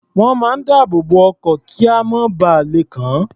Wọ́n máa ń dáàbò bo ọkọ̀, kíamọ̀ má ba lè kàn án.